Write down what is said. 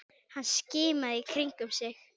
Hann skimaði í kringum sig.